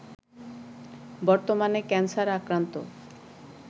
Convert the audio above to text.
বর্তমানে ক্যানসার আক্রান্ত